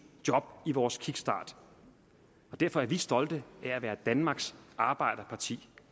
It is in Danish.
job i vores kickstart og derfor er vi stolte af at være danmarks arbejderparti